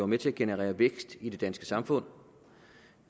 med til at generere vækst i det danske samfund